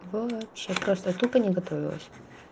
вообще просто я тупо не готовилась